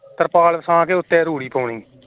ਤਰਪਾਲ ਵਿਛਾ ਕੇ ਉੱਤੇ ਰੂੜੀ ਪਾਉਣੀ